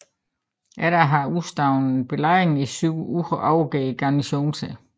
Efter at have udstået belejringen i syv uger overgrav garnisonen sig